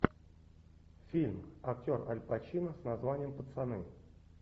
фильм актер аль пачино с названием пацаны